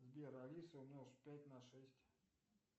сбер алиса умножь пять на шесть